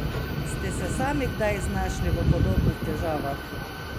Ste se sami kdaj znašli v podobnih težavah?